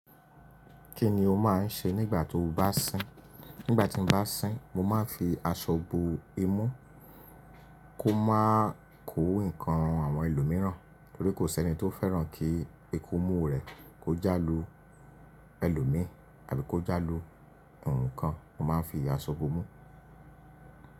Kí ni o máà ń ṣe nígbà tó bá sín? Nígbà tí mo bá sín, mo máa ń fi aṣọ bo imú. Kó má kó ìkan rán àwọn ẹlòmíràn, torí kò sẹ́ni tó fẹ́ràn kí ikùn imú rè kò já lu ẹlòmí àbí kò já lu ǹkan. Mo máa ń fi aṣọ bo imú.